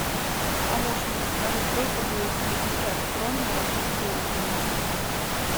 помощник подскажи сколько будет пятьдесят крон на российские рубли